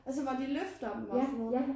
Altså hvor de løfter dem og sådan noget